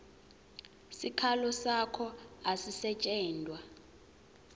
sikhalo sakho asisetjentwa